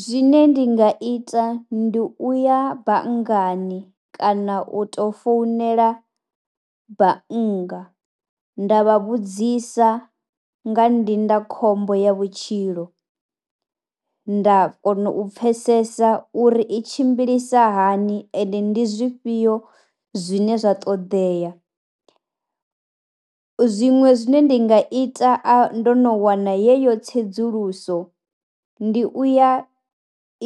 Zwine ndi nga ita ndi u ya banngani kana u tou founela bannga nda vha vhudzisa nga ndindakhombo ya vhutshilo, nda kona u pfesesa uri i tshimbilisa hani ende ndi zwifhio zwine zwa ṱoḓea. Zwiṅwe zwine ndi nga ita ndo no wana yeyo tsedzuluso ndi u ya